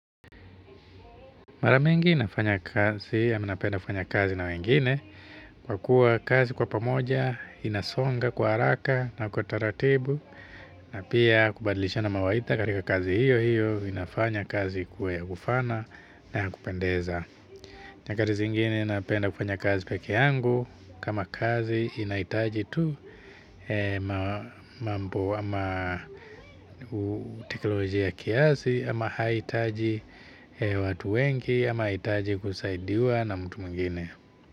Mara mingi nafanya kazi ama napenda kufanya kazi na wengine kwa kuwa kazi kwa pamoja inasonga kwa haraka na kwa taratibu na pia kubadilishana mawaidha katika kazi hiyo hiyo inafanya kazi ikuwe ya kufana na ya kupendeza. Nyakati zingine napenda kufanya kazi peke yangu kama kazi inahitaji tu mambo ama teknolojia ya kiasi ama haitaji watu wengi ama haitaji kusaidiwa na mtu mwingine.